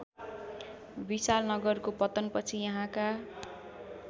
विशालनगरको पतनपछि यहाँका